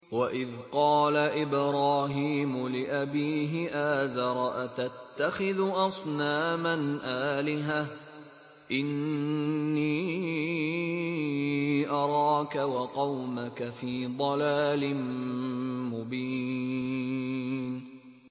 ۞ وَإِذْ قَالَ إِبْرَاهِيمُ لِأَبِيهِ آزَرَ أَتَتَّخِذُ أَصْنَامًا آلِهَةً ۖ إِنِّي أَرَاكَ وَقَوْمَكَ فِي ضَلَالٍ مُّبِينٍ